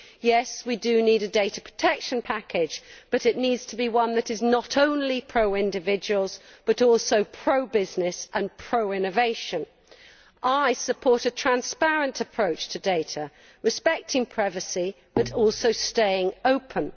Yes, we do need a data protection package but it needs to be one that is not only pro individuals, but also pro business and pro innovation. I support a transparent approach to data, respecting privacy, but also staying open.